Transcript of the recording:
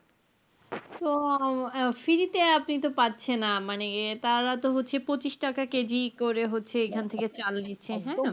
তো আহ free তে আপনি তো পাচ্ছেনা, মানে তাঁরা তো হচ্ছে পঁচিশ টাকা করে কেজি করে হচ্ছে এখান থেকে চাল নিচ্ছে, হ্যাঁ।